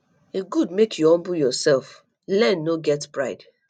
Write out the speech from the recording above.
e good make you humble yourself learn no get pride